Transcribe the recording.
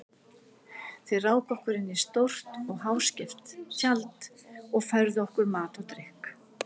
Þeir ráku okkur inn í stórt og háskeft tjald og færðu okkur mat og drykk.